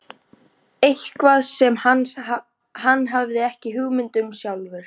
Eitthvað sem hann hafði ekki hugmynd um sjálfur.